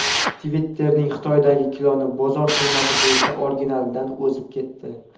Twitter’ning Xitoydagi kloni bozor qiymati bo‘yicha originalidan o‘zib ketdi.